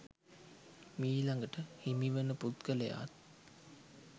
මීලඟට හිමි වන පුද්ගලයාත්